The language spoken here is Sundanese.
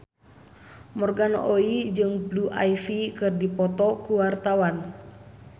Morgan Oey jeung Blue Ivy keur dipoto ku wartawan